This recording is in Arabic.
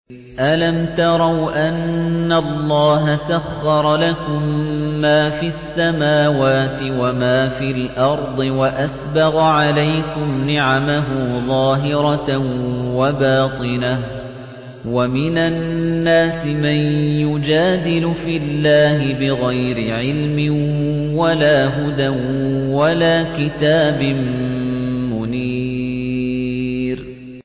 أَلَمْ تَرَوْا أَنَّ اللَّهَ سَخَّرَ لَكُم مَّا فِي السَّمَاوَاتِ وَمَا فِي الْأَرْضِ وَأَسْبَغَ عَلَيْكُمْ نِعَمَهُ ظَاهِرَةً وَبَاطِنَةً ۗ وَمِنَ النَّاسِ مَن يُجَادِلُ فِي اللَّهِ بِغَيْرِ عِلْمٍ وَلَا هُدًى وَلَا كِتَابٍ مُّنِيرٍ